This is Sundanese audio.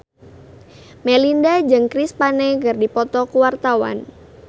Melinda jeung Chris Pane keur dipoto ku wartawan